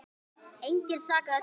Engan sakaði þar.